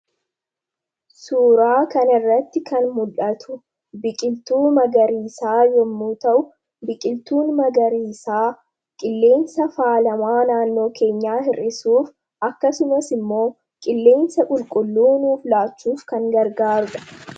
Suuraa kanarratti kan mul'atu biqiltuu magariisaa yommuu ta'u, biqiltuun magariisaa qilleensa faalama naannoo keenyaa hir'isuuf akkasumas immoo qilleensa qulqulluu nuuf laachuuf kan gargaarudha.